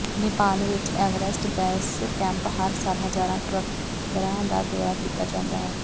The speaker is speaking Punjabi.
ਨੇਪਾਲ ਵਿਚ ਐਵਰੇਸਟ ਬੇਸ ਕੈਂਪ ਹਰ ਸਾਲ ਹਜ਼ਾਰਾਂ ਟ੍ਰੇਕਰਾਂ ਦਾ ਦੌਰਾ ਕੀਤਾ ਜਾਂਦਾ ਹੈ